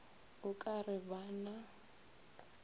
o ka re ba na